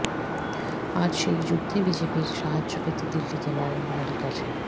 আজ সেই যুদ্ধে বিজেপির সাহায্য পেতে দিল্লিতে নরেন্দ্র মোদীর কাছে